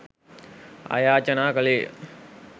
ආයාචනා කළේ ය.